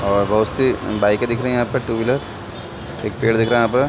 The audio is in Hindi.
और बहुत से बाइके दिख रही है टू व्हीलर्स एक पेड़ दिख रहा है यहाँ पे--